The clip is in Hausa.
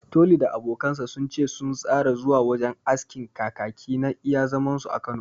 Toli da abokansa sun ce sun tsara zuwa wajen askin Kakaki na iya zaman su a Kano